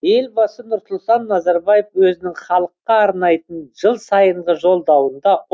елбасы нұрсұлтан назарбаев өзінің халыққа арнайтын жыл сайынғы жолдауында